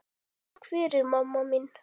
Takk fyrir mamma mín.